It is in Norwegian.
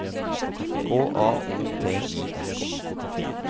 K A O T I S K